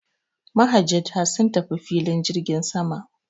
Mahajjata sun tafi filin jirgin sama.